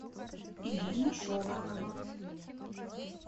ирина шолохова